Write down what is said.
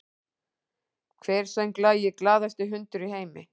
Hver söng lagið “Glaðasti hundur í heimi”?